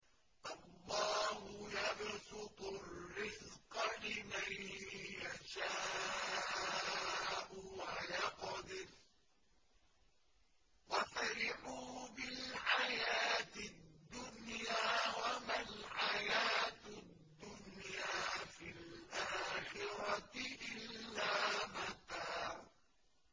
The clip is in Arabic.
اللَّهُ يَبْسُطُ الرِّزْقَ لِمَن يَشَاءُ وَيَقْدِرُ ۚ وَفَرِحُوا بِالْحَيَاةِ الدُّنْيَا وَمَا الْحَيَاةُ الدُّنْيَا فِي الْآخِرَةِ إِلَّا مَتَاعٌ